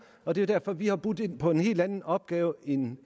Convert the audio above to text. og det er derfor vi har budt ind på en helt anden opgave end